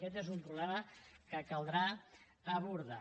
aquest és un problema que caldrà abordar